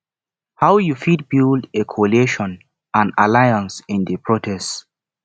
how you fit build a coalition and alliance in di protest